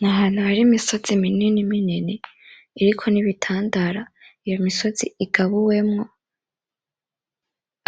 N'ahantu hari imisozi minini minini iriko n'ibitandara iyo misozi igabuwemwo